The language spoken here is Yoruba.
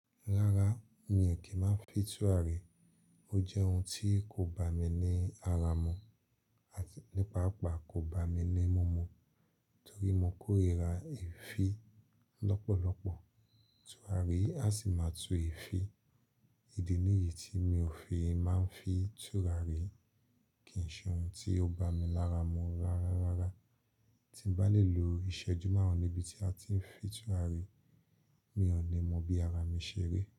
Rárá, mi ò kí ń máa fi tùràrí. Ó jẹ́ ohun tí kò bá mi ní ara mú àti ní paàpá kò bá mi ní mu mú torí mo kórira èéfín lọ́pọ̀lọ́pọ̀. Tùràrí á sì máa tu èéfín. Idi níyì tí mi ò fi máa ń fi tùràrí kì í ṣe ohun tí ó bá mi lára mú rárá rárá. Tí n bá lè lo ìṣẹ́jú márùn-ún níbi tí a ti ń fi tùràrí, mi ò ní mọ bí ara mi ṣe rí.